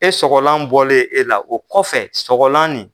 E sɔgɔlan bɔlen e la o kɔfɛ sɔgɔlan nin